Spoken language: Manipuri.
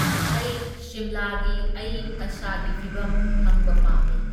ꯑꯩ ꯁꯤꯝꯂꯥꯒꯤ ꯑꯌꯤꯡ ꯑꯁꯥꯒꯤ ꯐꯤꯕꯝ ꯈꯪꯕ ꯄꯥꯝꯃꯤ꯫